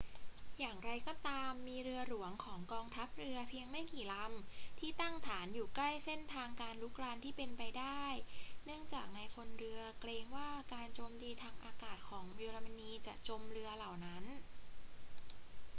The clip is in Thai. อย่างไรก็ตาม มีเรือหลวงของกองทัพเรือเพียงไม่กี่ลำที่ตั้งฐานอยู่ใกล้เส้นทางการรุกรานที่เป็นไปได้ เนื่องจากนายพลเรือเกรงว่าการโจมตีทางอากาศของเยอรมนีจะจมเรือเหล่านั้น